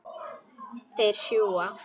Þeir sjúga.